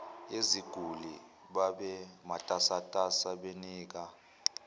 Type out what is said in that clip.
yeziguli babematasatasa benika